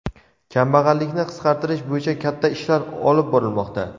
Kambag‘allikni qisqartirish bo‘yicha katta ishlar olib borilmoqda.